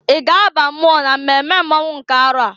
I ga aba mmụọ na mmemme mmonwụ nke arọ a?